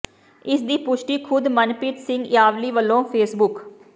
ਇਸ ਦੀ ਪੁਸ਼ਟੀ ਖੁਦ ਮਨਪ੍ਰੀਤ ਸਿੰਘ ਇਆਲੀ ਵੱਲੋਂ ਫੇਸਬੁੱਕ